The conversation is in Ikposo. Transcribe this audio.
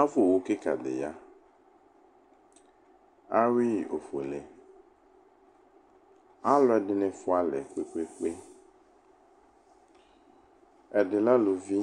Ava owʋ kika di ya awui ofuele alʋ ɛdini fualɛ kpe kpe kpe ɛdi alʋvi